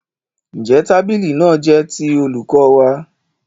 Ǹjẹ́ tábìlì náà jẹ́ ti olùkọ́ wa?